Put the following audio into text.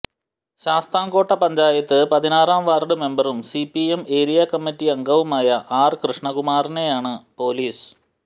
ശാസ്താംകോട്ട പഞ്ചായത്ത് പതിനാറാം വാർഡ് മെമ്പറും CPM area committee അംഗവുമായ ആർ കൃഷ്ണകുമാറിനെയാണ് പൊലീസ്